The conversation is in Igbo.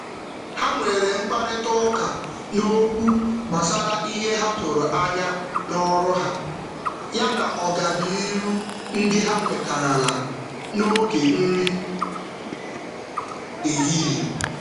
N’oge nri ehihie, ha kparịtara ebumnuche ọrụ ogologo oge na um akara mmepe n’ụzọ nkịtị.